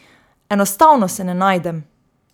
Enostavno se ne najdem.